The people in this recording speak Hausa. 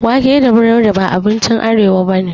Wake da breaburodi ba abinci arewa bane